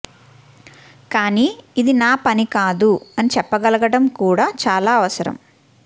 కాని ఇది నా పనికాదు అని చెప్పగలగడం కూడా చాలా అవసరం